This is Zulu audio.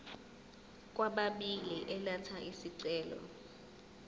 kwababili elatha isicelo